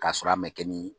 K'a sɔrɔ a mɛn kɛ ni